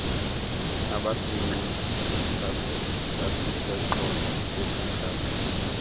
abasinqe sasiseqonce besekapa